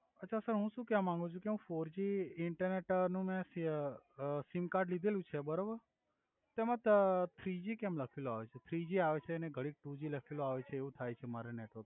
અછા સર હુ સુ કેવ માંગુ છુ કે હુ ફોરજી ઇન્ટરનેટ નુ મે સિય અ સિમ કર્ડ લિધેલુ છે બરોબર તો એમ ત થ્રીજી કેમ લખેલુ આવે છે થ્રીજી આવે છે ને ઘડિક ટુજી લખેલુ આવે છે એવુ થાય છે મારે નેટવર્ક